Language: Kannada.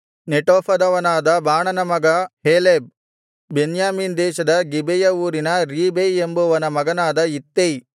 ನೆಟೋಫದವನಾದ ಬಾಣನ ಮಗ ಹೇಲೆಬ್ ಬೆನ್ಯಾಮೀನ್ ದೇಶದ ಗಿಬೆಯ ಊರಿನ ರೀಬೈ ಎಂಬುವನ ಮಗನಾದ ಇತ್ತೈ